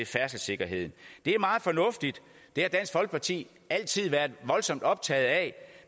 færdselssikkerheden det er meget fornuftigt det har dansk folkeparti altid været voldsomt optaget af